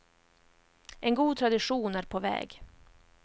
En god tradition är på väg.